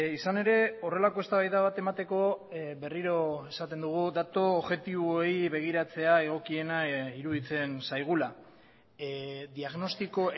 izan ere horrelako eztabaida bat emateko berriro esaten dugu datu objektiboei begiratzea egokiena iruditzen zaigula diagnostiko